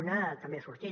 una també ha sortit